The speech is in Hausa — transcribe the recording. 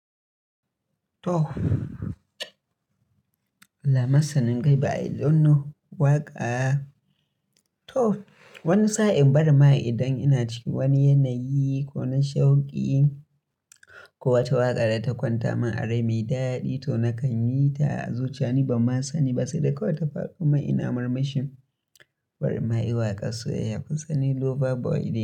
To, Allah masanin gaibu, i don no waka. To wani sa'in barima idan ina cikin wani yanayi ko na shauƙi ko wata waƙa da ta kwanta min a rai mai daɗi to nakan yi ta zuciya ni ban ma sani ba sai da kawai ta fado man ina mirmashin. Barinma i waƙar soyayya kun san ni lover boy ne.